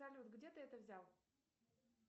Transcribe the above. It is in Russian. салют где ты это взял